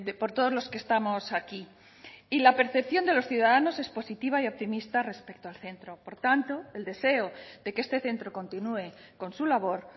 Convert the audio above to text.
por todos los que estamos aquí y la percepción de los ciudadanos es positiva y optimista respecto al centro por tanto el deseo de que este centro continúe con su labor